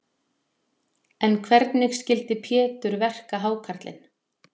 En hvernig skyldi Pétur verka hákarlinn?